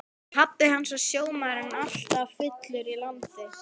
Pabbi hans var sjómaður en alltaf fullur í landi.